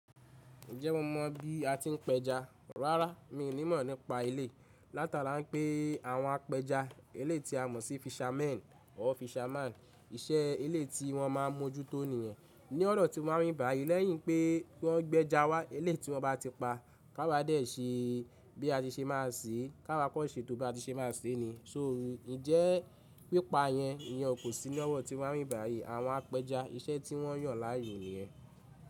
Ǹjẹ́ mo mọ̀ bí a ti ń péja? Rárá, mi ò ní mọ̀ nípa eléyi. Látara pé àwọn apẹja, eléyi ti a mọ̀ sí fishermen or fisherman. Iṣẹ́ eléti wọ́n má ń mójútó niyẹn. Ní òdò tí wa ni bi bayi, lẹ́yìn pé wọ́n gbéja wá, eléti wọn bá ti pa, ki àwa jé ṣe bí a ti ṣe máa ṣe, ki awá kọ́ ṣe tó bí a ti ṣe máa ṣe ni. Ǹjẹ́ pípa yẹn, ìyẹn kò sí lọwọ́ tí wa nibi báyìí àwọn apẹja iṣẹ́ tí wọ́n yàn láàyò ènìyàn.